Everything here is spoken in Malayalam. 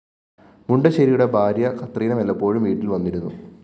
മുണ്ടശ്ശേരിയുടെ ഭാര്യ കത്രീന വല്ലപ്പോഴും വീട്ടില്‍ വന്നിരുന്നു